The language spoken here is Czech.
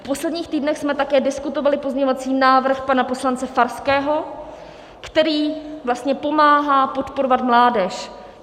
V posledních týdnech jsme také diskutovali pozměňovací návrh pana poslance Farského, který vlastně pomáhá podporovat mládež.